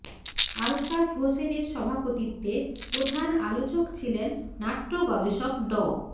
আলতাফ হোসেনের সভাপতিত্বে প্রধান আলোচক ছিলেন নাট্য গবেষক ড